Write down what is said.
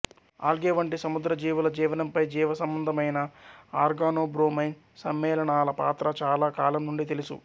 algae వంటి సముద్ర జీవుల జీవనంపై జీవసంబంధమైన ఆర్గానోబ్రోమైన్ సమ్మేళనాల పాత్ర చాలా కాలం నుండి తెలుసు